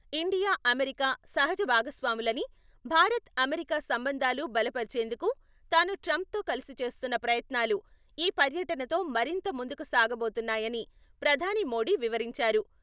India, America సహజ భాగస్వాములని, Bharat, America సంబంధాలు బలపర్చేందుకు తాను ట్రంప్ తో కలిసి చేస్తున్న ప్రయత్నాలు ఈ పర్యటనతో మరింత ముందుకు సాగబోతున్నాయని ప్రధాని మోడీ వివరించారు.